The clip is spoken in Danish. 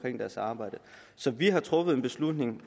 i deres arbejde så vi har truffet en beslutning